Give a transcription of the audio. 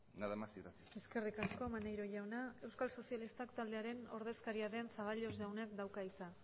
nada más y gracias eskerrik asko maneiro jauna euskal sozialistak taldearen ordezkaria den zaballos jaunak dauka hitza